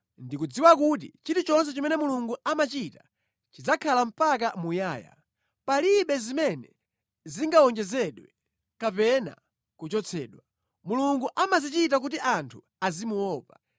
Ndikudziwa kuti chilichonse chimene Mulungu amachita chidzakhala mpaka muyaya; palibe zimene zingawonjezedwe kapena kuchotsedwa. Mulungu amazichita kuti anthu azimuopa.